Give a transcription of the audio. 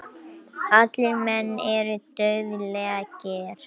Allir menn eru dauðlegir.